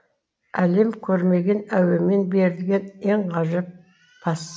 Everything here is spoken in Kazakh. әлем көрмеген әуемен берілген ең ғажап пас